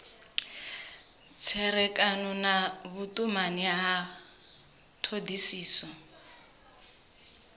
tserekano na vhutumani ya thodisiso